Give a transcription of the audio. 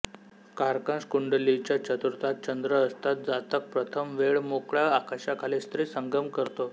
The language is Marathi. कारकांश कुंडलीच्या चतुर्थात चंद्र असता जातक प्रथम वेळ मोकळया आकाशाखाली स्त्री संगम करतो